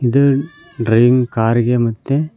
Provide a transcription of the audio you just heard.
ಇದು driving car ಗೆ ಮತ್ತೆ.